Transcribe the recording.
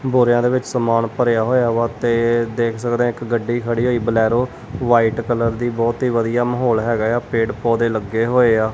ਬੋਰਿਆਂ ਦੇ ਵਿੱਚ ਸਮਾਨ ਭਰਿਆ ਹੋਇਆ ਵਾ ਤੇ ਦੇਖ ਸਕਦੇ ਆਂ ਇੱਕ ਗੱਡੀ ਖੜੀ ਹੋਈ ਬੁਲੈਰੋ ਵਾਈਟ ਕਲਰ ਦੀ ਬਹੁਤ ਹੀ ਵੜੀਆ ਮਾਹੌਲ ਹੈਗਾ ਏ ਆ ਪੇੜ ਪੌਦੇ ਲੱਗੇ ਹੋਏ ਆ।